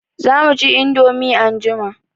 Za mu ci indomie anjima.